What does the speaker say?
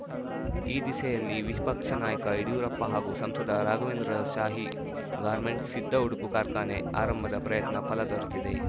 ಈ ದಿಸೆಯಲ್ಲಿ ವಿಪಕ್ಷ ನಾಯಕ ಯಡಿಯೂರಪ್ಪ ಹಾಗೂ ಸಂಸದ ರಾಘವೇಂದ್ರರ ಶಾಹಿ ಗಾರ್ಮೆಂಟ್ಸ್‌ ಸಿದ್ಧ ಉಡುಪು ಕಾರ್ಖಾನೆ ಆರಂಭದ ಪ್ರಯತ್ನ ಫಲ ದೊರೆತಿದೆ